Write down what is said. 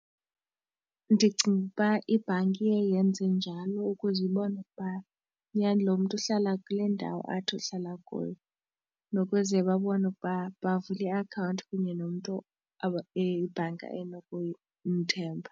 Ndicinga ukuba ibhanki iye yenze njalo ukuze ibone ukuba nyhani loo mntu uhlala kule ndawo athi uhlala kuyo. Nokuze babone ukuba bavule iakhawunti kunye nomntu eye ibhanki enokumthemba.